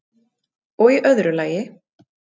og í öðru lagi